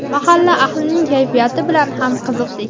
mahalla ahlining kayfiyati bilan ham qiziqdik.